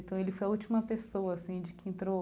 Então ele foi a última pessoa, assim, de que entrou